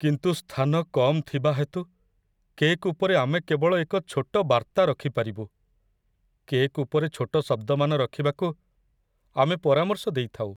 କିନ୍ତୁ ସ୍ଥାନ କମ୍ ଥିବା ହେତୁ, କେକ୍ ଉପରେ ଆମେ କେବଳ ଏକ ଛୋଟ ବାର୍ତ୍ତା ରଖି ପାରିବୁ। କେକ୍ ଉପରେ ଛୋଟ ଶବ୍ଦମାନ ରଖିବାକୁ ଆମେ ପରାମର୍ଶ ଦେଇଥାଉ।